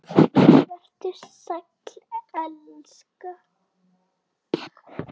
Vertu sæll, elska.